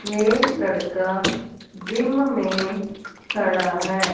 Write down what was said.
ये लड़का जिम मे खड़ा है।